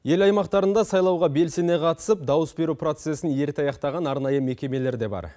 ел аймақтарында сайлауға белсене қатысып дауыс беру процессін ерте аяқтаған арнайы мекемелер де бар